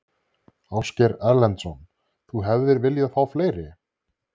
Ásgeir Erlendsson: Þú hefðir viljað fá fleiri?